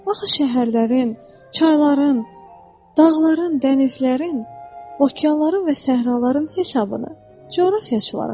Baxı şəhərlərin, çayların, dağların, dənizlərin, okeanların və səhraların hesabını coğrafiyaçılar aparır.